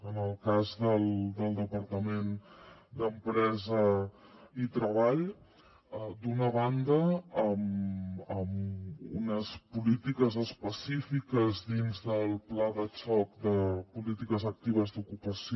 en el cas del departament d’empresa i treball d’una banda amb unes polítiques específiques dins del pla de xoc de polítiques actives d’ocupació